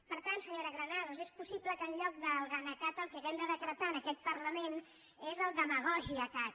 per tant senyora gra·nados és possible que en lloc del gana cat el que hàgim de decretar en aquest parlament sigui el dema·gògia cat